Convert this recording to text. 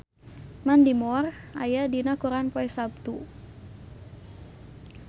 Mandy Moore aya dina koran poe Saptu